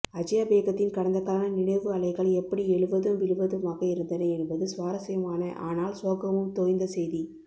அஜ்யாபேகத்தின் கடந்தகால நினைவு அலைகள் எப்படி எழுவதும் விழுவதுமாக இருந்தன என்பது சுவாரஸ்யமான ஆனால் சோகமும் தோய்ந்த செய்தி